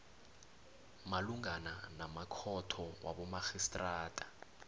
malungana namakhotho wabomarhistrada